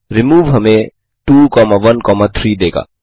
remove हमें 213 देगा